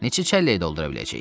Neçə çəllək doldura biləcəyik?